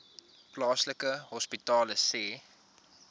plaaslike hospitale sê